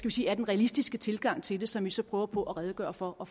at sige er den realistiske tilgang til det og som vi så prøver på at redegøre for og